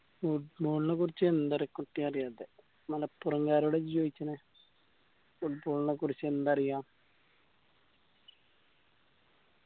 football ന കുറിച്ച് എന്ത അറിയാത്തെ മലപ്പുറംകാരോടാ ഇജ്ജ് ചോയിക്കണ് football നക്കുറിച്ച് എന്ത് അറിയാന്ന്